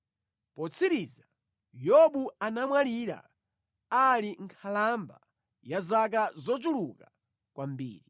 Potsiriza, Yobu anamwalira ali nkhalamba ya zaka zochuluka kwambiri.